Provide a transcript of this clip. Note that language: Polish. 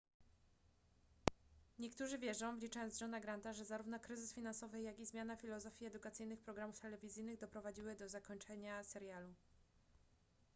niektórzy wierzą wliczając johna granta że zarówno kryzys finansowy jak i zmiana filozofii edukacyjnych programów telewizyjnych doprowadziły do zakończenia serialu